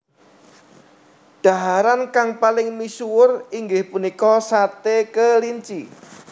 Dhaharan kang paling misuwur inggih punika sate kelinci